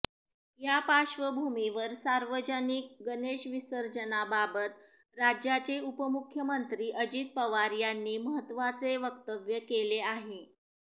या पार्श्वभूमीवर सार्वजनिक गणेश विसर्जनाबाबत राज्याचे उपमुख्यमंत्री अजित पवार यांनी महत्त्वाचे वक्तव्य केले आहे